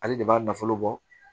Ale de b'a nafolo bɔ